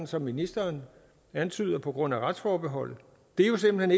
som ministeren antyder på grund af retsforbeholdet det er jo simpelt